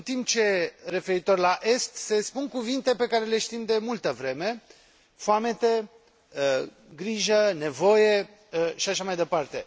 În timp ce, referitor la est, se spun cuvinte pe care le știm de multă vreme foamete, grijă, nevoie și așa mai departe.